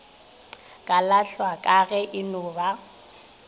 kalahlwa ka ge eno ba